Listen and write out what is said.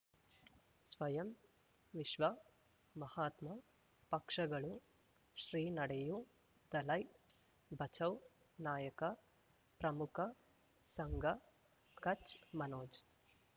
ಸ್ವಯಂ ವಿಶ್ವ ಮಹಾತ್ಮ ಪಕ್ಷಗಳು ಶ್ರೀ ನಡೆಯೂ ದಲೈ ಬಚೌ ನಾಯಕ ಪ್ರಮುಖ ಸಂಘ ಕಚ್ ಮನೋಜ್